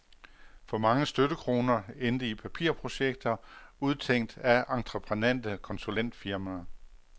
For mange støttekroner endte i papirprojekter, udtænkt af entreprenante konsulentfirmaer.